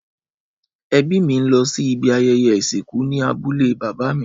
Ẹbí mí ń lọ sí ibi ayẹyẹ ìsìnkú ní abúlé bàbá mi.